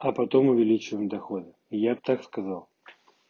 а потом увеличиваем доходы я бы так сказал